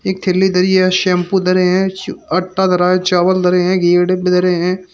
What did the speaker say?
एक थैली धरी है शैंपू धरे है च आटा धरा हैं चावल धरे हैं घी धरे हैं।